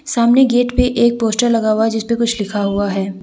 सामने गेट पे एक पोस्टर लगा हुआ है जिसपे कुछ लिखा हुआ है।